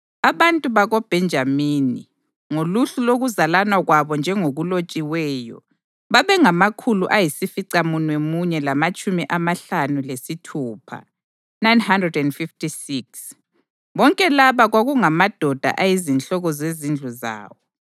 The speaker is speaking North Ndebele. Abantu bakoBhenjamini, ngoluhlu lokuzalana kwabo njengokulotshiweyo, babengamakhulu ayisificamunwemunye lamatshumi amahlanu lesithupha (956). Bonke laba kwakungamadoda ayizinhloko zezindlu zawo.